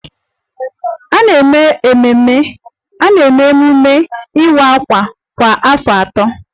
A na-eme emume Iwa àkwà kwa afọ atọ